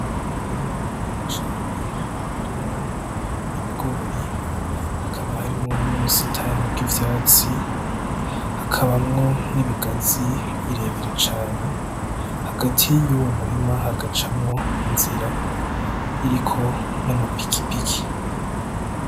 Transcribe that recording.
Umurima munini cane urimwo ibigori, hakaba harimwo n'ubusitani bw'ivyatsi, hakabamwo n'ibigazi birebire cane. Hagati y'uwo muri hagaca inzira irimwo n'amapikipiki.